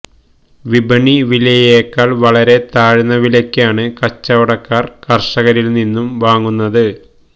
വിപണി വിലയേക്കാൾ വളരെ താഴ്ന്ന വിലയ്ക്കാണ് കച്ചവടക്കാർ കർഷകരിൽ നിന്നും വാങ്ങുന്നത്